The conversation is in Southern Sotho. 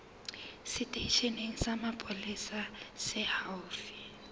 seteisheneng sa mapolesa se haufi